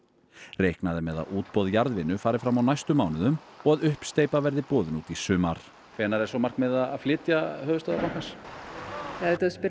reiknað er með að útboð jarðvinnu fari fram á næstu mánuðum og að uppsteypa verði boðin út í sumar hvenær er svo markmiðið að flytja höfuðstöðvar bankans ef þú spyrð